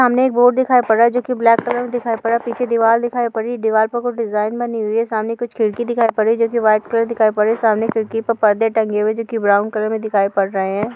सामने बोर्ड दिखाई पड़ रहा है जो की ब्लैक कलर मे दिखाई पड़ रहा है। पीछे दीवार दिखाई पड़ रहा है। दीवार पर कुछ डिज़ाइन बनी हुई हैं। सामने कुछ खिड़की दिखाई पर रही है जोकि व्हाइट कलर दिखाई पड़ रही हैं। सामने खिड़की पर पर्दे टंगे हुए हैं जोकि ब्राउन कलर में दिखाई पड़ रही हैं।